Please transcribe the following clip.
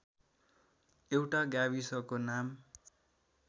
एउटा गाविसको नाम